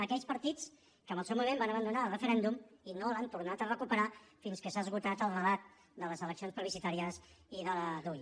aquells partits que en el seu moment van abandonar el referèndum i no l’han tornat a recuperar fins que s’ha esgotat el relat de les eleccions plebiscitàries i de la dui